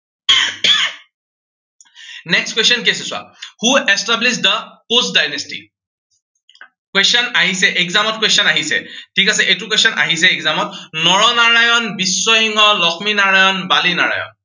next question কি আছিলে চোৱা। who established the Koch dynasty question আহিছে, exam ত question আহিছে, ঠিক আছে, এইটো question আহিছে exam ত নৰনাৰায়ণ, বিশ্বসিংহ, লক্ষ্মী নাৰায়ণ, বাণী নাৰায়ণ